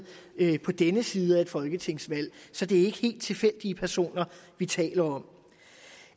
på denne side af et folketingsvalg så det er ikke helt tilfældige personer vi taler om